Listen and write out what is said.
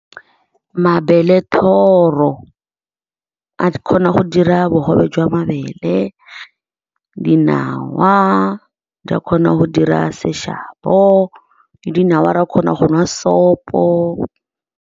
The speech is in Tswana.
Mabelethoro a kgona go dira bogobe jwa mabele. Dinawa di a kgona go dira seshabo, dinawa ra kgona go nwa sopo.